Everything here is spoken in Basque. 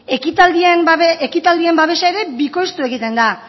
ekitaldien babesa ere bikoiztu egiten da